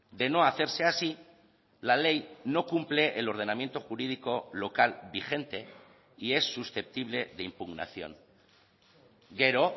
de no hacerse así la ley no cumple el ordenamiento jurídico local vigente y es susceptible de impugnación gero